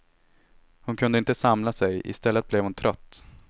Hon kunde inte samla sig, istället blev hon trött.